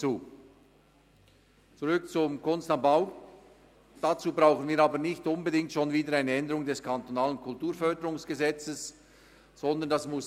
Zurück zur «Kunst am Bau»: Für die Erfüllung des Anliegens der Motion brauchen wir aber nicht unbedingt schon wieder eine Änderung des Kantonalen Kulturförderungsgesetzes vom 12. Juni 2012 (KKFG);